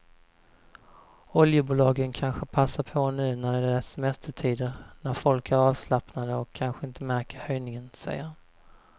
Oljebolagen kanske passar på nu när det är semestertider när folk är avslappnade och kanske inte märker höjningen, säger han.